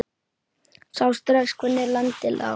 Sá strax hvernig landið lá.